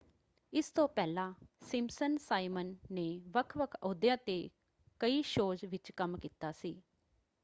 ਇਸ ਤੋਂ ਪਹਿਲਾਂ ਸਿੰਪਸਨ ਸਾਈਮਨ ਨੇ ਵੱਖ-ਵੱਖ ਅਹੁਦਿਆਂ 'ਤੇ ਕਈ ਸ਼ੋਜ਼ ਵਿੱਚ ਕੰਮ ਕੀਤਾ ਸੀ।